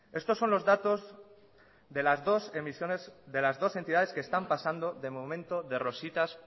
estos son los datos de las dos emisiones de las dos entidades que están pasando de momento de rositas